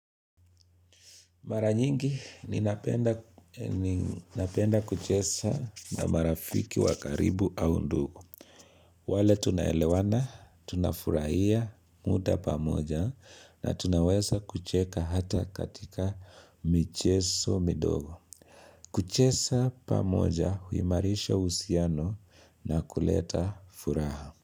Mara nyingi ninapenda napenda kuchesa na marafiki wa karibu au ndugu. Wale tunaelewana, tunafurahia mda pamoja na tunaweza kucheka hata katika micheso midogo. Kuchesa pamoja huimarisha uhusiano na kuleta furaha.